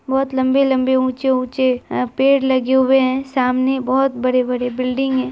बहुत लम्बे-लम्बे ऊँचे-ऊँचे अ पेड़ लगे हुए है सामने बहुत बड़े-बड़े बिल्डिंग है।